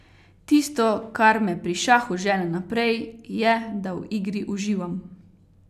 Tisto, kar me pri šahu žene naprej, je, da v igri uživam.